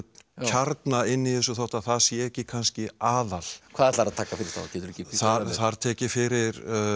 kjarna inni í þessu þótt það sé kannski aðal hvað ætlarðu að taka fyrir þá þar tek ég fyrir